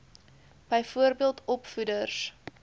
byvoorbeeld opvoeders